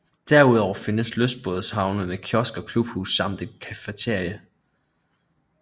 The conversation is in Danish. Derudover findes lystbådehavn med kiosk og klubhus samt et cafeteria